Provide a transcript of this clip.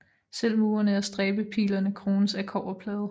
Selv murene og stræbepillerne krones af kobberplader